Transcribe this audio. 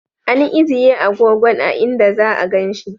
An ijiye agogon a'inda za'a ganin shi.